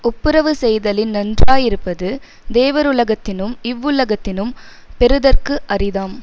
ஒப்புரவு செய்தலின் நன்றாயிருப்பது தேவருலகத்தினும் இவ்வுலகத்தினும் பெறுதற்கு அரிதாம்